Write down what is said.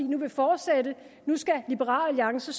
nu vil fortsætte nu skal liberal alliance